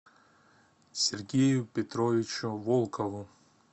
сергею петровичу волкову